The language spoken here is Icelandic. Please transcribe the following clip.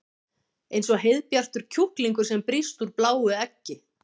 Eins og heiðbjartur kjúklingur sem brýst úr bláu eggi.